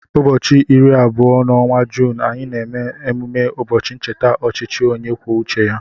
Ụbọchị iri na abụọ n'ọnwa Juun, anyị na eme mmemme ụbọchị ncheta ọchịchị onye kwuo uche ya.